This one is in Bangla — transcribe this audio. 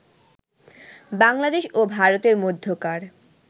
বাংলাদেশ ও ভারতের মধ্যকার